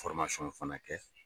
fana kɛ